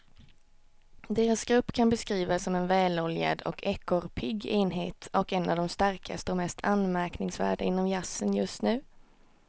Deras grupp kan beskrivas som en väloljad och ekorrpigg enhet och en av de starkaste och mest anmärkningsvärda inom jazzen just nu.